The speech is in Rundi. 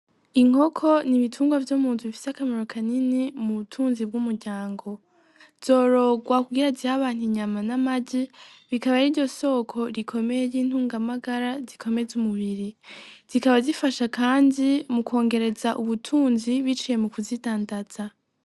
Inkoko ni ibitungwa vyo muntu bifise akamaro kanini mu butunzi bw'umuryango zorogwa kugira zihabantu inyama n'amaje bikaba ari ryo soko rikomeye ry'intungamagara zikome z'umubiri zikaba zifasha, kandi mukwongereza ubutunzi bicaye mu kuzidandaza.